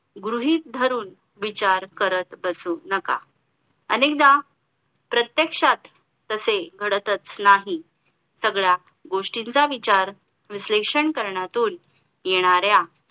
गृहीत धरून विचार करत बसू नका अनेकदा प्रत्येक्षात तसे घडतच नाही सगळ्या गोष्टींचा विचार विश्लेषण करण्यातून येणाऱ्या